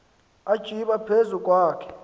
atsiba phezu kwakhe